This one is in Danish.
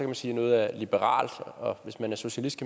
man sige at noget er liberalt og hvis man er socialist